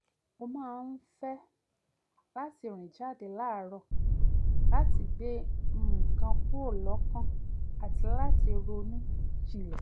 ó máa ń fẹ́ láti rìn jáde láàárọ̀ láti gbé nǹkan kúrò lọ́kàn àti láti ronú jinlẹ̀